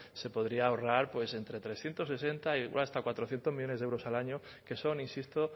se podría ahorrar entre trescientos sesenta y hasta cuatrocientos millónes de euros al año que son insisto